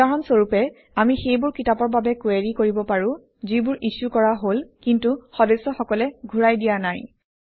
উদাহৰণ স্বৰূপে আমি সেইবোৰ কিতাপৰ বাবে কুৱেৰি কৰিব পাৰোঁ যিবোৰ ইছ্যু কৰা হল কিন্তু সদস্যসকলে ঘূৰাই দিয়া নাই